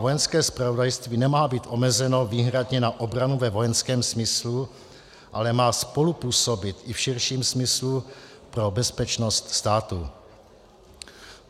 Vojenské zpravodajství nemá být omezeno výhradně na obranu ve vojenském smyslu, ale má spolupůsobit i v širším smyslu pro bezpečnost státu.